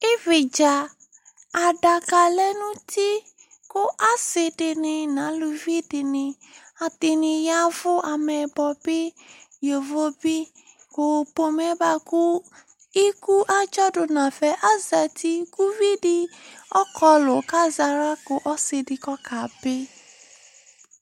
Ividza adaka lɛ nu uti ku asidini nu aluvi dini adini ya ɛvu amɛyibɔ bi yovo bi ku pome bua ku iku adzɔ du nafa azati ku uvi di ɔkɔlu ku azaɣla ku ɔsi di ku ɔkabi